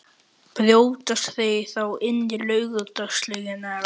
Brjótast þeir þá inn í Laugardalslaugina eða?